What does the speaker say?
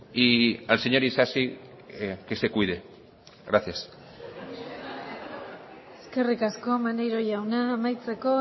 y al señor isasi que se cuide gracias eskerrik asko maneiro jauna amaitzeko